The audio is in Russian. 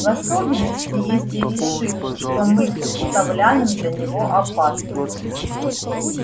в особенности если решит что мы представляем для него опасность